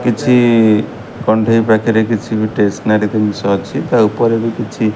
କିଛି କଣ୍ଢେଇ ପାଖେରେ କିଛି ବି ଟେସନାରୀ ଦିନିଷ ଅଛି ତା ଉପରେ ବି କିଛି।